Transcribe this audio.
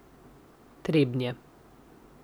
Trebnje.